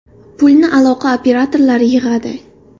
Pulni aloqa operatorlari yig‘adi.